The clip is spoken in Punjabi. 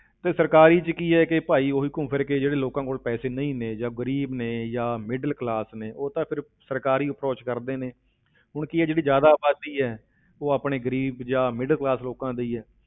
ਤੇ ਸਰਕਾਰੀ ਵਿੱਚ ਕੀ ਹੈ ਕਿ ਭਾਈ ਉਹੀ ਘੁੰਮ ਫਿਰ ਕੇ ਜਿਹੜੇ ਲੋਕਾਂ ਕੋਲ ਪੈਸੇ ਨਹੀਂ ਨੇ ਜਾਂ ਗ਼ਰੀਬ ਨੇ ਜਾਂ middle class ਨੇ ਉਹ ਤਾਂ ਫਿਰ ਸਰਕਾਰੀ approach ਕਰਦੇ ਨੇ ਹੁਣ ਕੀ ਆ ਜਿਹੜੀ ਜ਼ਿਆਦਾ ਆਬਾਦੀ ਹੈ, ਉਹ ਆਪਣੇ ਗ਼ਰੀਬ ਜਾਂ middle class ਲੋਕਾਂ ਦੀ ਹੈ।